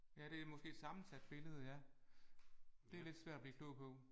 Ja det er måske sammensat billede ja det er lidt svært at blive klog på